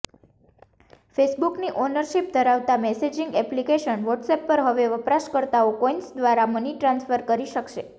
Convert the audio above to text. ફેસબુકની ownership ધરાવતી messaging application WhatsApp પર હવે વપરાશકર્તાઓ કોઇન્સ દ્વારા મની ટ્રાન્સફર કરી શકશે